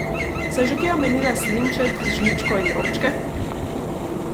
Sem že kje omenila slinček, žličko in robčke?